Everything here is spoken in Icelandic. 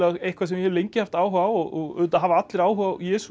eitthvað sem ég hef lengi haft áhuga á auðvitað hafa allir áhuga á Jesú